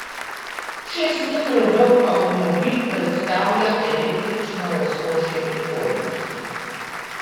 Šest metrov dolg avtomobil predstavlja električno razkošje prihodnosti.